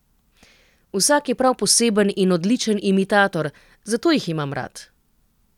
Vsak je prav poseben in odličen imitator, zato jih imam rad.